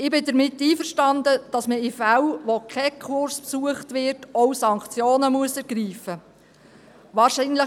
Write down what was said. Ich bin damit einverstanden, dass man in Fällen, in denen kein Kurs besucht wird, auch Sanktionen ergreifen muss.